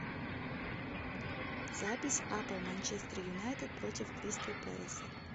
запись апл манчестер юнайтед против кристал пэласа